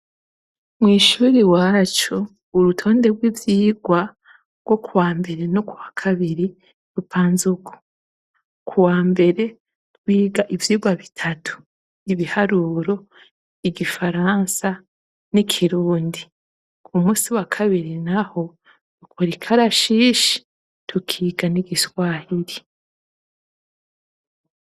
Mw'ishure iwacu, urutonde rw'ivyigwa rwo kuwa mbere no ku wa kabiri, rupanze uku:" ku wa mbere twiga ivyigwa bitatu: ibiharuro, igifaransa n'ikirundi, ku munsi wa kabiri naho dukora ikarashishi tukiga n'igiswahiri.